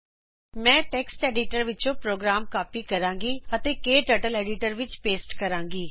ਮੈਂ text editor ਵਿੱਚੋ program copy ਕਰੂੰਗੀ ਤੇ ਉਸਨੂੰ ਕਟਰਟਲ ਐਡੀਟਰ ਵਿੱਚ ਪੋਸਟ ਕਰੂੰਗੀ